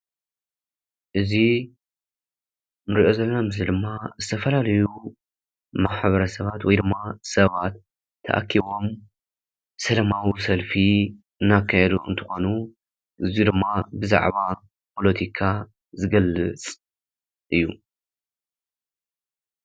እዚ እንሪኦ ዘለና ምስሊ ድማ ዝተፈላለዩ ማሕበረሰባት ወይ ድማ ሰባት ተኣኪቦም ሰላማዊ ሰልፊ እንናካየእንትኾኑ እዚ ድማ ብዛዕባ ፖሎቲካ ዝገልፅ እዩ።